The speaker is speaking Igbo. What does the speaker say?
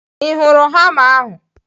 Ị hụrụ hama ahu?